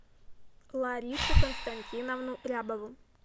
ларису константиновну рябову